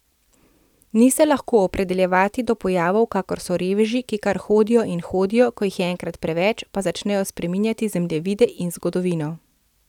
Ni se lahko opredeljevati do pojavov, kakor so reveži, ki kar hodijo in hodijo, ko jih je enkrat preveč, pa začnejo spreminjati zemljevide in zgodovino.